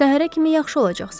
Səhərə kimi yaxşı olacaqsan.